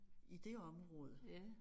I det område